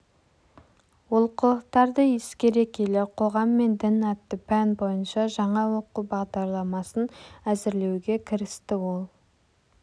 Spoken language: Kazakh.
олқылықтарды ескере келе қоғам мен дін атты пән бойынша жаңа оқу бағдарламасын әзірлеуге кірісті ол